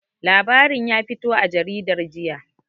Labarin ƴa fito a jaridar jiƴa.